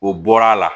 O bɔra a la